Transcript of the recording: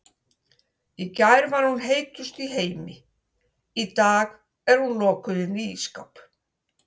Í gær var hún heitust í heimi, í dag er hún lokuð inni í ísskáp.